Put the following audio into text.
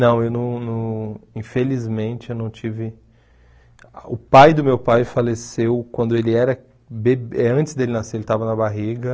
Não, eu não não... Infelizmente, eu não tive... O pai do meu pai faleceu quando ele era be... Antes dele nascer, ele estava na barriga.